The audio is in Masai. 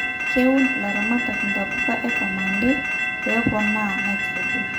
keun ilaramatak intapuka ekamande pepona nitrogen